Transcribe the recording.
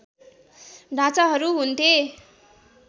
ढाँचाहरू हुन्थे